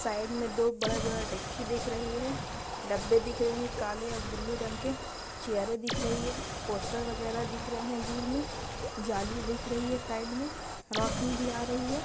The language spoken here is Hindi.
साइड में दो बड़े-बड़े दिकची रही है। डब्बे दिख रहे है काले और ब्लू रंग के चेयरे दिख रही हैं पोस्टर वगेरा दिख रहे है दूर में जाली दिख रही है साइड में रौशनी भी आ रही है।